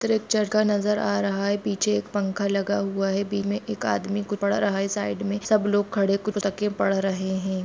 Church का नजर आ रहा है पीछे एक पंखा लगा हुआ है बीच में एक आदमी कुछ पढ़ रहा है साईड में सब लोग खड़े हुए कुछ रख के पढ़ रहे है।